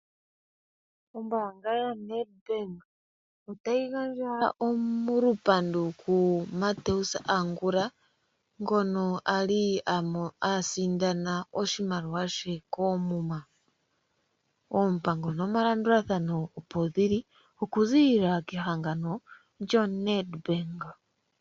Ombaanga yo NedBank otayi gandja olupandu ku Mateus Angula, ngono a li a sindana oshimaliwa she koomuma. Oompango nomalandulathano opo dhili okuziililako kehangano NedBank.